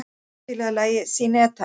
Oddlaug, spilaðu lagið „Syneta“.